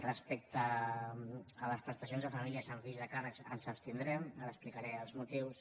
respecte a les prestacions a famílies amb fills a càrrec ens abstindrem ara n’explicaré els motius